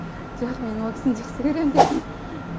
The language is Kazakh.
жоқ мен ол кісіні жақсы көрем деп